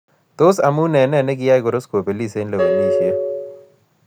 Tos'amu eng' nee ne kiyai koros kobelis eng' lewenisiet